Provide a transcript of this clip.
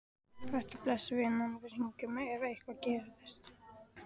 Vertu blessuð, vinan, við hringjum ef eitthvað gerist.